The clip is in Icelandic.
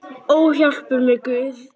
Ó, hjálpi mér Guð!